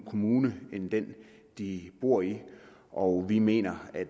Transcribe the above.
kommune end den de bor i og vi mener at